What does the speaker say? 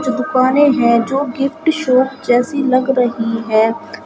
जो दुकाने हैं जो गिफ्ट शॉप जैसी लग रही हैं।